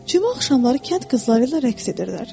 Cümə axşamları kənd qızları ilə rəqs edirlər.